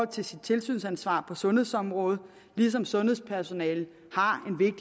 til sit tilsynsansvar på sundhedsområdet ligesom sundhedspersonalet har